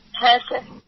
হ্যাঁ স্যার